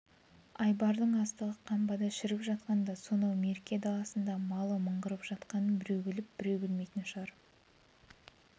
айбардың астығы қамбада шіріп жатқанда сонау мерке даласында малы мыңғырып жатқанын біреу біліп біреу білмейтін шығар